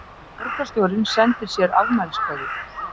Borgarstjórinn sendir sér afmæliskveðju